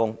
作出